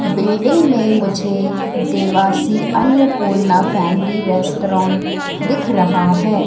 Building में मुझे Devasi Annapurna family restaurant दिख रहा है।